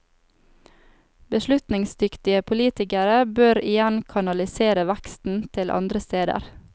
Beslutningsdyktige politikere bør igjen kanalisere veksten til andre steder.